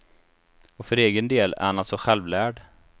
Och för egen del är han alltså självlärd.